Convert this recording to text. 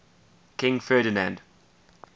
king ferdinand